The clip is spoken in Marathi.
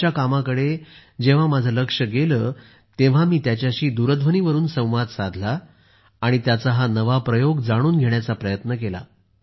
त्यांच्या कामाकडे जेव्हा माझे लक्ष गेले तेव्हा मी त्यांच्याशी दूरध्वनीवरून संवाद साधला आणि त्यांचा हा नवा प्रयोग जाणून घेण्याचा प्रयत्न केला